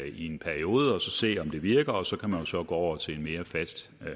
i en periode og så se om det virker og så kan man jo så gå over til en mere fast